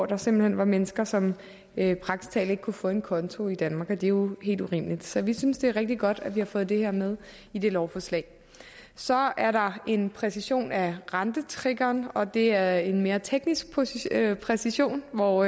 der simpelt hen var mennesker som praktisk talt ikke kunne få en konto i danmark og det var jo helt urimeligt så vi synes det er rigtig godt at vi har fået det her med i det lovforslag så er der en præcisering af rentetriggeren og det er en mere teknisk præcisering præcisering hvor